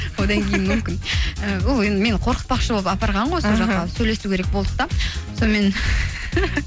одан кейін мүмкін і ол енді мені қорқытпақшы болып апарған ғой сол жаққа сөйлесу керек болды да сонымен